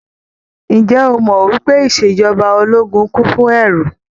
Ǹjẹ́ o mọ̀ wípé ìṣèjọba ológun kún fún ẹ́ru.